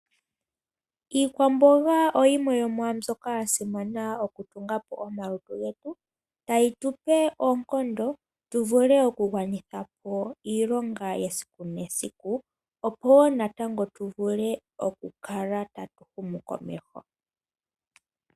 Iikwamboga oyimwe yomwa mbyoka yasimana okutunga po omalutu getu , tayi tupe oonkondo tuvule okugwanitha po iilonga yesiku nesiku opo natango tu vule okukala tatu humu komeho.